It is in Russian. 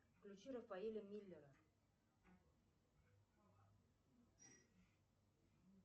включи рафаэля миллера